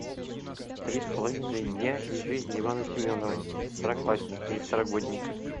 три с половиной дня из жизни ивана семенова второклассника и второгодника